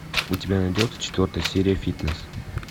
у тебя найдется четвертая серия фитнес